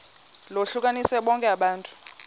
lohlukanise bonke abantu